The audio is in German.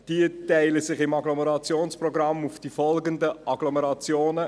Diese verteilen sich im Agglomerationsprogramm auf die folgenden Agglomerationen: